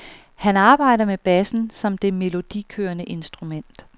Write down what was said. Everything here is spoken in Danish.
Han arbejder med bassen som det melodikørende instrument.